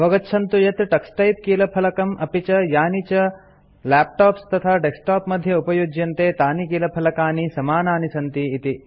अवगच्छन्तु यत् टक्स टाइपिंग कीलफलकम् अपि च यानि च लैपटॉप्स तथा डेस्कटॉप मध्ये उपयुज्यन्ते तानि कीलफलकानि समानानि सन्ति इति